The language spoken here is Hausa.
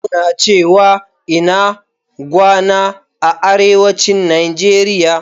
Muna cewa "INA GWANA" a Arewacin Nigeria.